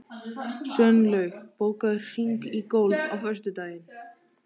Sveinlaug, bókaðu hring í golf á föstudaginn.